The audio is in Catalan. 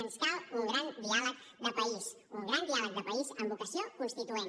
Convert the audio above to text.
ens cal un gran diàleg de país un gran diàleg de país amb vocació constituent